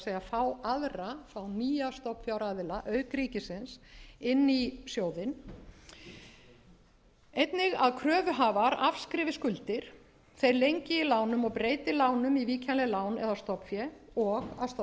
fá aðra fá nýja stofnfjáraðila auk ríkisins inn í sjóðinn einnig að kröfuhafar afskrifi skuldir þeir lengi í lánum og breyti lánum í víkjanleg lán eða stofnfé og að stofnfé